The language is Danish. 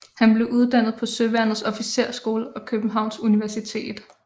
Han blev uddannet på Søværnets Officersskole og Københavns Universitet